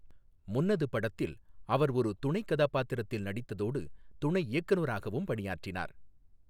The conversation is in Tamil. முன்னது படத்தில் அவர் ஒரு துணைக் கதாபாத்திரத்தில் நடித்ததோடு துணை இயக்குநராகவும் பணியாற்றினார்.